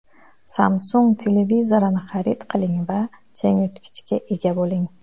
Samsung televizorini xarid qiling va changyutgichga ega bo‘ling.